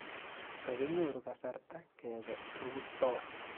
Kokinyoru kasarta kepe rutoi